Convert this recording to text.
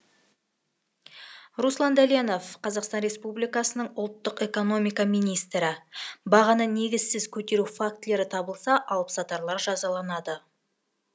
руслан дәленов қр ұлттық экономика министрі бағаны негізсіз көтеру фактілері табылса алып сатарлар жазаланады